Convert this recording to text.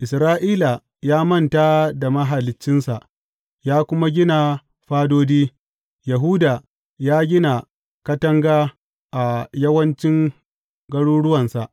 Isra’ila ya manta da Mahaliccinsa ya kuma gina fadodi; Yahuda ya gina katanga a yawancin garuruwansa.